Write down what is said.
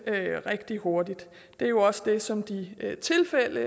rigtig hurtigt det er jo også det som de tilfælde